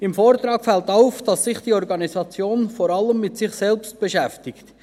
Im Vortrag fällt auf, dass sich die Organisation vor allem mit sich selbst beschäftigt.